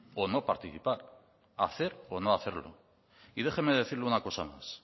o no participar hacer o no hacerlo y déjeme decirle una cosa más